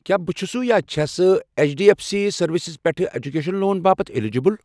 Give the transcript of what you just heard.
کیٛاہ بہٕ چھُسہٕ یا چھَسہٕ H D B finance services پٮ۪ٹھٕ ایٚجوکیشن لون باپتھ الیجبل؟